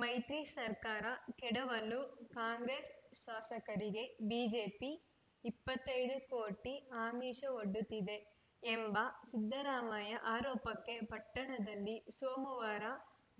ಮೈತ್ರಿ ಸರ್ಕಾರ ಕೆಡವಲು ಕಾಂಗ್ರೆಸ್‌ ಶಾಸಕರಿಗೆ ಬಿಜೆಪಿ ಇಪ್ಪತ್ತೈ ದು ಕೋಟಿ ಆಮಿಷವೊಡ್ಡುತ್ತಿದೆ ಎಂಬ ಸಿದ್ದರಾಮಯ್ಯ ಆರೋಪಕ್ಕೆ ಪಟ್ಟಣದಲ್ಲಿ ಸೋಮವಾರ